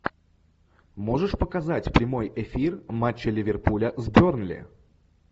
можешь показать прямой эфир матча ливерпуля с бернли